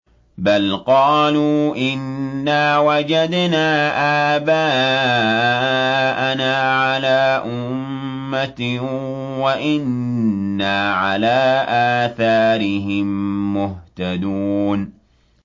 بَلْ قَالُوا إِنَّا وَجَدْنَا آبَاءَنَا عَلَىٰ أُمَّةٍ وَإِنَّا عَلَىٰ آثَارِهِم مُّهْتَدُونَ